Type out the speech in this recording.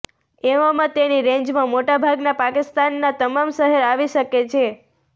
એવામાં તેની રેંજમાં મોટા ભાગના પાકિસ્તાનનાં તમામ શહેર આવી શકે છે